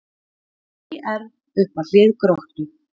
ÍR upp að hlið Gróttu